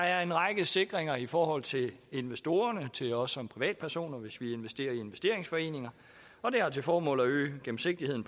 er en række sikringer i forhold til investorerne og til os som privatpersoner hvis vi investerer i investeringsforeninger og det har til formål at øge gennemsigtigheden